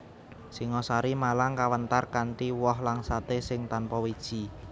Singosari Malang kawentar kanthi woh langsaté sing tanpa wiji